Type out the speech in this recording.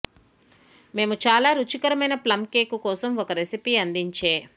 మేము చాలా రుచికరమైన ప్లం కేక్ కోసం ఒక రెసిపీ అందించే